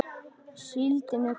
Síldin er komin!